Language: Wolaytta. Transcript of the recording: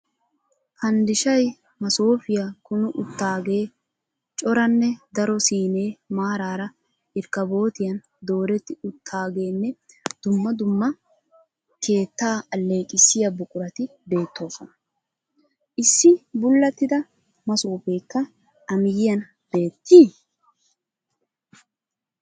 Fanddishay masoofiya kumi uttaagee, coranee daro siinee maaraara irkkaabootiyan dooretti uttaageenne dumma dumma keettaa alleeqissiya buqurati beettoosona. Issi buulattida masoofeekka a miyiyan beettes?